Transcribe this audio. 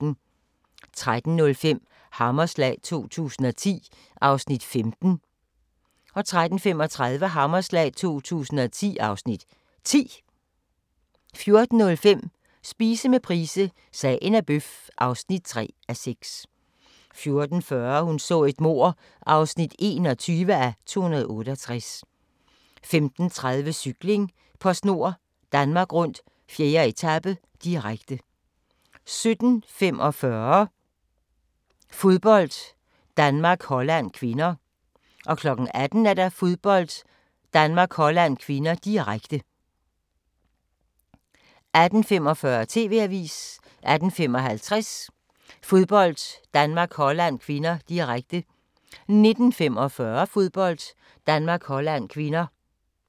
13:05: Hammerslag 2010 (Afs. 15) 13:35: Hammerslag 2010 (Afs. 10) 14:05: Spise med Price – Sagen er bøf (3:6) 14:40: Hun så et mord (21:268) 15:30: Cykling: PostNord Danmark Rundt - 4. etape, direkte 17:45: Fodbold: Danmark-Holland (k) 18:00: Fodbold: Danmark-Holland (k), direkte 18:45: TV-avisen 18:55: Fodbold: Danmark-Holland (k), direkte 19:45: Fodbold: Danmark-Holland (k)